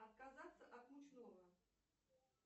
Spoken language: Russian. отказаться от мучного